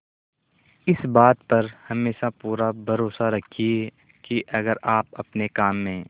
इस बात पर हमेशा पूरा भरोसा रखिये की अगर आप अपने काम में